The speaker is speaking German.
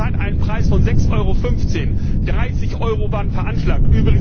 Wir haben zur Zeit einen Preis von 6,15 EUR, 30 EUR waren veranschlagt.